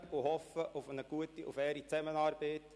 Ich hoffe auf eine gute und faire Zusammenarbeit.